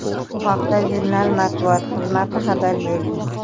Bu haqda jurnal matbuot xizmati xabar berdi .